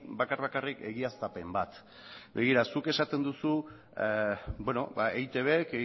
bakar bakarrik egiaztapen bat begira zuk esaten duzu eitbk